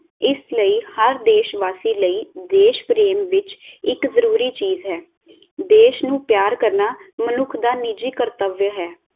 ਇਸ ਲਈ ਹਰ ਦੇਸ਼ਵਾਸੀ ਲਈ ਦੇਸ਼ ਪ੍ਰੇਮ ਵਿਚ ਇਕ ਜਰੂਰੀ ਚੀਜ ਹੈ ਦੇਸ਼ ਨੂੰ ਪਿਆਰ ਕਰਨਾ ਮਨੁੱਖ ਦਾ ਨਿਜੀ ਕਰਤੱਵਯ ਹੈ